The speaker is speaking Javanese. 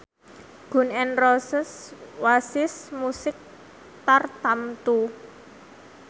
Gun n Roses wasis musik tartamtu